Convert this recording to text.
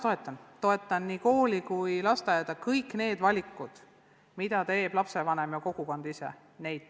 Toetan selles mõttes nii kooli kui ka lasteaeda, toetan kõiki valikuid, mida teevad lapsevanemad ja kogukonnad ise.